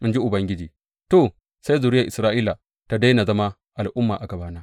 in ji Ubangiji, to, sai zuriyar Isra’ila ta daina zama al’umma a gabana.